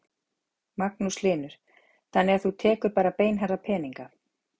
Magnús Hlynur: Þannig að þú tekur bara beinharða peninga?